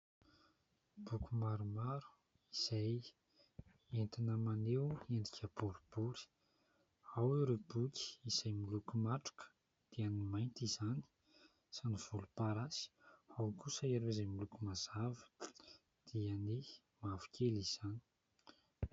Boky maromaro izay entina maneho endrika boribory ao ireo boky izay miloko matroka dia ny mainty izany sy ny volomparasy ao kosa ireo izay miloko mazava dia ny mavokely izany.